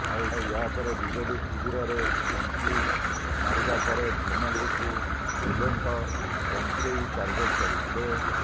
ଆଉ ଏହାପରେ ବିଜେଡି ଶିବିରରେ ଏଣ୍ଟ୍ରି ମାରିବା ପରେ ଧର୍ମେନ୍ଦ୍ରଙ୍କୁ ବୁଲେଙ୍କ ବଙ୍କେଇ ଟାର୍ଗେଟ କରିଥିଲେ